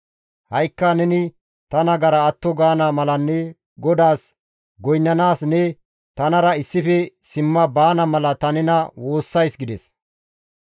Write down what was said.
Ha7ikka neni ta nagara atto gaana malanne GODAAS goynnanaas ne tanara issife simma baana mala ta nena woossays» gides.